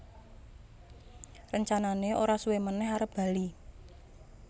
Rencanané ora suwé manèh arep bali